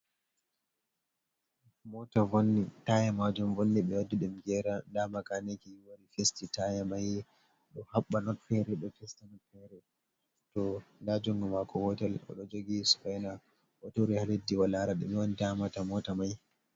Mota vonni taya majun vonni be waddi dum gera ha makaniki wari fisti taya mai do habba notfere do testa not fere to dajungu mako hotel o do jogi suvaina o turi ha leddi o lara dume on damata mota mai.